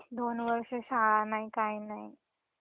दोन वर्ष शाळा नाही काही नाही.